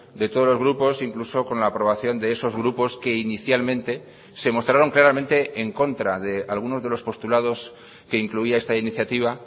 de todos los grupos incluso con la aprobación de esos grupos que inicialmente se mostraron claramente en contra de algunos de los postulados que incluía esta iniciativa